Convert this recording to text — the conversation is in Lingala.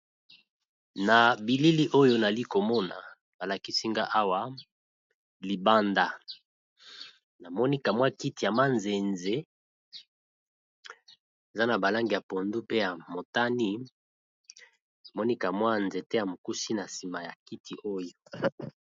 Na bilili oyo nali komona balakisi nga awa libanda namoni kiti ya manzenze, eza na ba langi ya pondu ,pe na ya motani Namoni pe nzete ya mokuse na sima ya kiti .